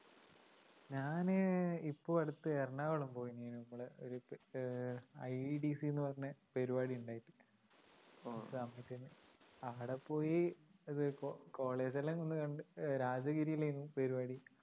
ഞാന് ഇപ്പൊ അടുത്ത് എറണാകുളംപോയിരുന്നു നമ്മടെ ഒരു അഹ് IDDC ന്നു പറഞ്ഞപരിപാടിയെണ്ടായിട്ട് അവിടെപ്പോയി college ല്ലാം ഒന്ന് കണ്ട് രാജഗിരിലായിരുന്നു പരിപാടി